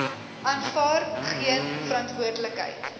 aanvaar geen verantwoordelikheid